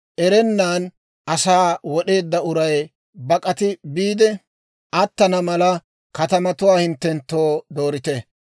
erennan asaa wod'eedda uray bak'ati biide attana mala, katamatuwaa hinttenttoo doorite.